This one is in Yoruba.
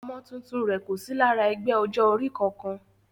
Ọmọ tuntun rẹ̀ kò sí lára ẹgbẹ́ ọjọ́ orí kankan